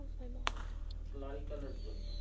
clerical এর জন্য